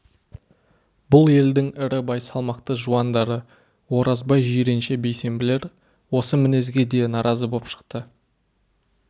бұл елдің ірі бай салмақты жуандары оразбай жиренше бейсенбілер осы мінезге де наразы боп шықты